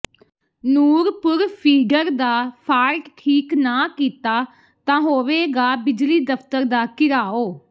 Nurpur feeder ਦਾ fault ਠੀਕ ਨਾ ਕੀਤਾ ਤਾਂ ਹੋਵੇਗਾ ਬਿਜਲੀ ਦਫ਼ਤਰ ਦਾ ਘਿਰਾਓ